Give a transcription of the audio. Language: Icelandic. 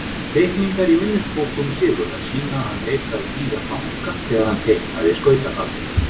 Teikningar í minnisbókum Sigurðar sýna að hann leitaði víða fanga þegar hann teiknaði skautafaldinn.